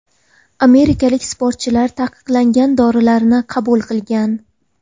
Amerikalik sportchilar taqiqlangan dorilarni qabul qilgan.